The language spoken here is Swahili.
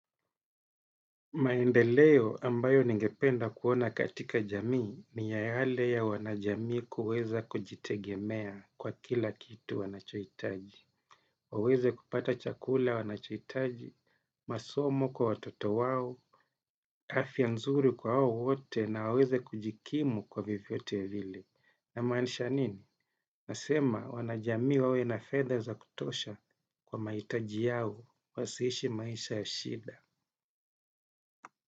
Maendeleo ambayo ningependa kuona katika jamii ni yale ya wanajamii kuweza kujitegemea kwa kila kitu wanachohitaji. Waweze kupata chakula wanachohitaji, masomo kwa watoto wao, afya nzuri kwa wao wote na waweze kujikimu kwa vyovyote vile. Na maanisha nini? Nasema wanajamii wawe na fedha zakutosha kwa mahitaji yao, wasiishi maisha ya shida.